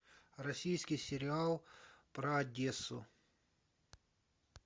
российский сериал про одессу